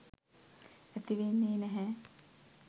ඇති වෙන්නෙ නැහැ.